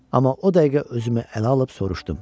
Amma o dəqiqə özümü ələ alıb soruşdum.